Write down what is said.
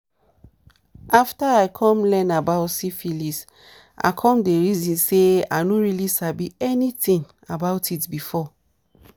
after i come learn about syphilis i come the reason say i no really sabi anything about it before.